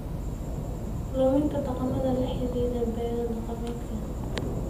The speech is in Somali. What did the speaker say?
Luminta dhaqamada la xidhiidha beero-dhaqameedka.